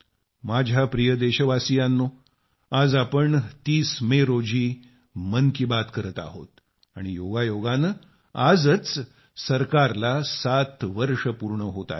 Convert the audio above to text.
माझ्या प्रिय देशवासियांनो आज आपण 30 मे रोजी मन की बात करत आहोत आणि योगायोगाने आजच सरकारला 7 वर्षे पूर्ण होत आहेत